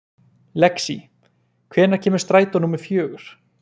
Lexí, hvenær kemur strætó númer fjögur?